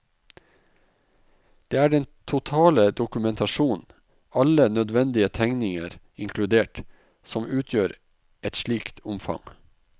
Det er den totale dokumentasjon, alle nødvendige tegninger inkludert, som utgjør et slikt omfang.